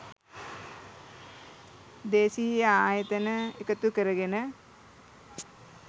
දේශීය ආයතන එකතු කරගෙන